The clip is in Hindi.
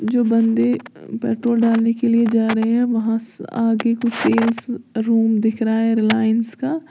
जो बंदे पेट्रोल डालने के लिए जा रहे हैं वहां स आगे कुछ सेल्स रूम दिख रहा है रिलाइंस का।